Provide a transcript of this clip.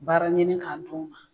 Baara ɲini k'a d'u ma